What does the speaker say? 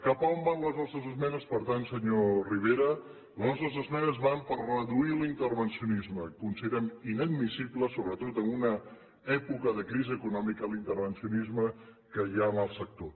cap a on van les nostres esmenes per tant senyor rivera les nostres esmenes van a reduir l’intervencionisme considerem inadmissible sobretot en una època de crisi econòmica l’intervencionisme que hi ha en el sector